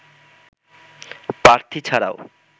প্রার্থী ছাড়াও